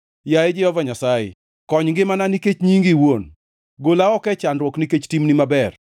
Yaye Jehova Nyasaye, kony ngimana nikech nyingi iwuon; gola oko e chandruok nikech timni maber.